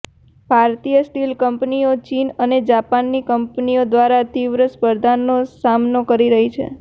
ભારતની સ્ટીલ કંપનીઓ ચીન અને જાપાનની કંપનીઓ દ્વારા તીવ્ર સ્પર્ધાનો સામનો કરી રહી છે